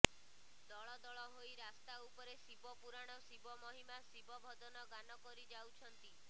ଦଳ ଦଳ ହୋଇ ରାସ୍ତା ଉପରେ ଶିବ ପୁରାଣ ଶିବ ମହିମା ଶିବ ଭଜନ ଗାନ କରି ଜାଉଛନ୍ତି